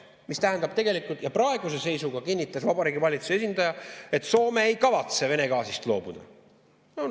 See tähendab tegelikult, ja praeguse seisuga kinnitas Vabariigi Valitsuse esindaja, et Soome ei kavatse Vene gaasist loobuda.